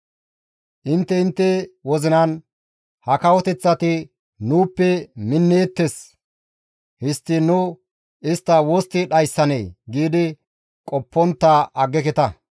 Intte intte wozinan, «Ha kawoteththati nuuppe minneettes; histtiin nu istta wostti dhayssanee?» giidi qoppontta aggeketa.